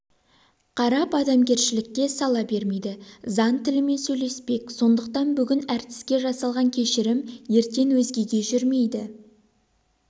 қарап адамгершілікке сала бермейді заң тілімен сөйлеспек сондықтан бүгін әртіске жасалған кешірім ертең өзгеге жүрмейді